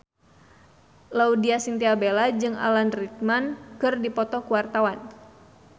Laudya Chintya Bella jeung Alan Rickman keur dipoto ku wartawan